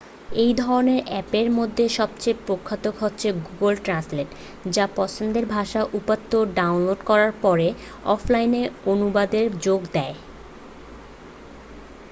এই ধরণের আ্যপের মধ্যে সবচেয়ে প্রখ্যাত হচ্ছে গুগল ট্র্যান্সলেট যা পছন্দের ভাষার উপাত্ত ডাউনলোড করার পরে অফলাইন অনুবাদের সুযোগ দেয়